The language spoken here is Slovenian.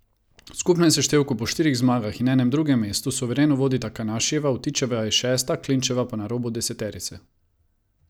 V skupnem seštevku po štirih zmagah in enem drugem mestu suvereno vodi Takanašijeva, Vtičeva je šesta, Klinčeva pa na robu deseterice.